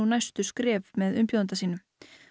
næstu skref með umbjóðanda sínum